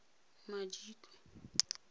madikwe